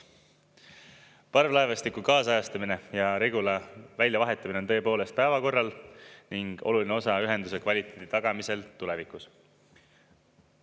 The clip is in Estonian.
Parvlaevastiku kaasajastamine ja Regula väljavahetamine on tõepoolest päevakorral ning oluline osa ühenduse kvaliteedi tagamisel tulevikus.